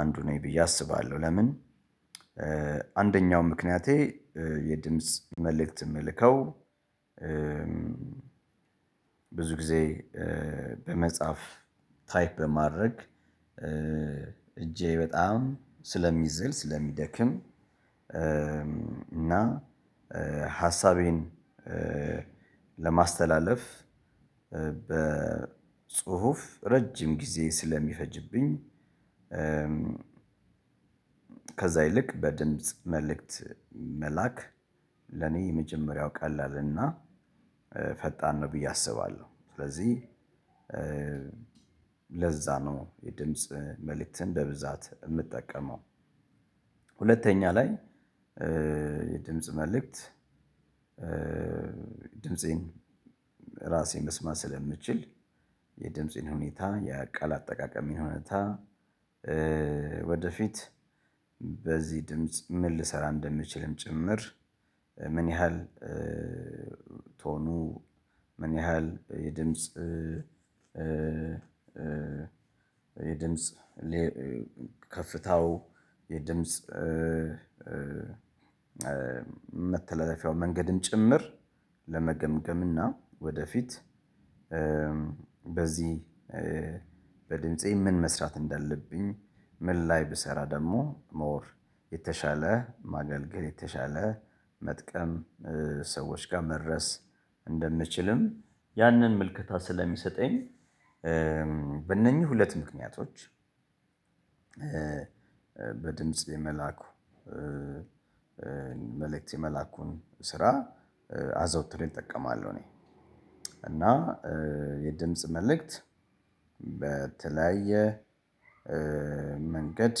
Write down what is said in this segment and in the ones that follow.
አንዱ ነኝ ብዬ አስባለሁ። ለምን? አንደኛው ምክንያቴ የድምጽ መልእክት የምልከው። ብዙ ጊዜ በመጽሐፍ ታይፕ በማድረግ እጄ በጣም ስለሚዝል ስለሚደክም። እና ሀሳቤን ለማስተላለፍ በጽሁፍ ረጅም ጊዜ ስለሚፈጅብኝ። ከዛ ይልቅ በድምጽ መልእክት መላክ ለኔ መጀመሪያው ቀላል እና ፈጣን ነው ብዬ አስባለሁ። ስለዚህ ለዛ ነው የድምጽ መልእክትን በብዛት የምጠቀመው። ሁለተኛ ላይ የድምጽ መልእክት። ድምፄን ራሴን መስማት ስለምችል የድምጽን ሁኔታ የቃል አጠቃቀም እውነታ። ወደፊት በዚህ ድምጽ ምን? ልሰራ እንደምችልም ጭምር ምን ያህል ቶኑ ምን ያህል? የድምጽ ከፍታው የድምጽ መተላለፊያው መንገድን ጭምር ለመገምገም። እና ወደፊት በዚህ በድምፄ ምን መስራት እንዳለብኝ ምን? ላይ ብሰራ ደግሞ ሞር የተሻለ ማገልገል የተሻለ መጥቀም ሰዎች ጋር መድረስ እንደምንችልም ያንን ምልክታ ስለሚሰጠኝ። በእነኚህ ሁለት ምክንያቶች። በድምጽ የመላኩ መልእክት የመላኩን ስራ አዘውትር እጠቀማለሁ። እኔ እና የድምጽ መልእክት። በተለያየ መንገድ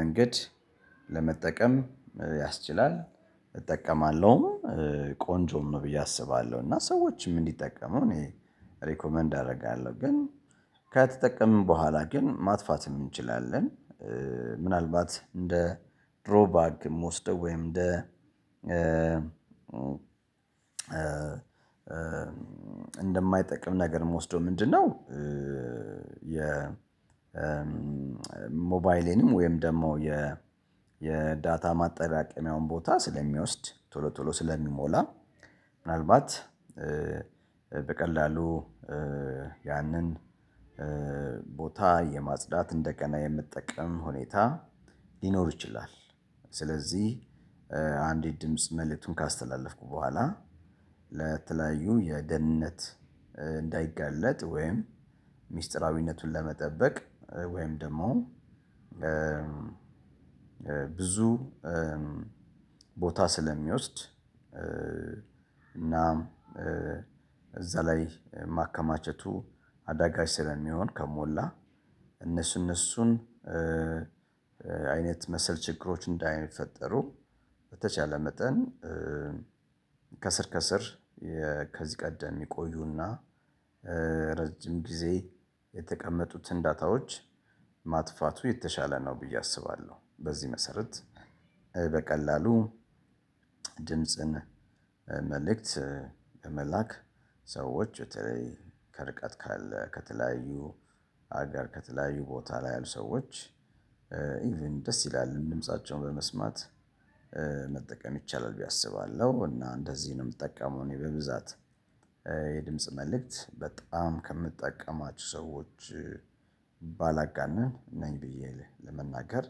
መንገድ ለመጠቀም ያስችላል እጠቀማለሁም ቆንጆ ነው ብዬ አስባለሁ። እና ሰዎችም እንዲጠቀሙ እኔ ሪኮመንድ አደርጋለሁ። ግን ከተጠቀምን በኋላ ግን ማጥፋት እንችላለን። ምናልባት እንደ ድሮ ባግ ወስደው ወይም እንደ እንደማይጠቅም ነገር መውሰደው ምንድነው? የ ሞባይሌንም ወይም ደግሞ የ የዳታ ማጠራቀሚያውን ቦታ ስለሚወስድ ቶሎ ቶሎ ስለሚሞላ። ምናልባት በቀላሉ ያንን ቦታ የማጽዳት እንደገና የምጠቀም ሁኔታ ሊኖር ይችላል። ስለዚህ አንዲት ድምጽ መልእክቱን ካስተላለፍኩ በኋላ ለተለያዩ የደህንነት እንዳይጋለጥ ወይም ሚስጥራዊነቱን ለመጠበቅ ወይም ደግሞ። ብዙ ቦታ ስለሚወስድ እናም እዛ ላይ ማከማቸቱ አዳጋች ስለሚሆን ከሞላ እነሱ እነሱን አይነት መሰል ችግሮች እንዳይፈጠሩ በተቻለ መጠን ከስር ከስር የከዚህ ቀደም የቆይና ረጅም ጊዜ የተቀመጡት ዳታዎች ማጥፋቱ የተሻለ ነው። ብዬ አስባለሁ። በዚህ መሰረት በቀላሉ ድምጽን መልእክት ለመላክ ሰዎች በተለይ ከርቀት ካለ ከተለያዩ ሀገር ከተለያዩ ቦታ ላይ ያሉ ሰዎች ኢቭን ደስ ይላል ድምፃቸውን በመስማት መጠቀም ይቻላል ብዬ አስባለሁ። እና እንደዚህ ነው የምጠቀመው። እኔ በብዛት የድምጽ መልእክት በጣም ከምትጠቀማችሁ ሰዎች ባላጋነን ነኝ ብዬ ለመናገር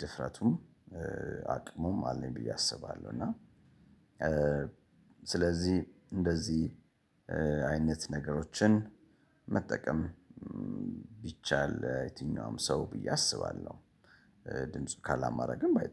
ድፍረቱን አቅሙን አለኝ ብዬ አስባለሁ። እና ስለዚህ እንደዚህ አይነት ነገሮችን መጠቀም ቢቻል የትኛውም ሰው ብዬ አስባለሁ። ድምፁ ካላማረግም ባይ